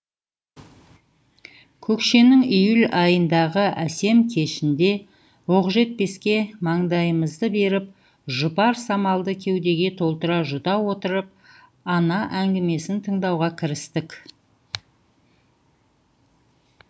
көкшенің июль айындағы әсем кешінде оқжетпеске маңдайымызды беріп жұпар самалды кеудеге толтыра жұта отырып ана әңгімесін тыңдауға кірістік